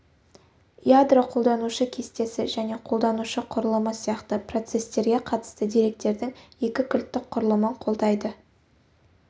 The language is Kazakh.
ядро қолданушы кестесі және қолданушы құрылымы сияқты процестертерге қатысты деректердің екі кілттік құрылымын қолдайды